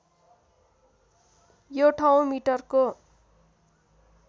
यो ठाउँ मिटरको